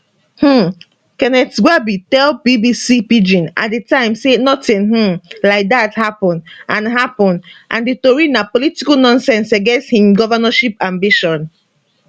um kenneth gbagi tell bbc pidgin at di time say notin um like dat happun and happun and di tori na political nonsense against im govnorship ambition